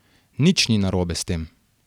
Nič ni narobe s tem.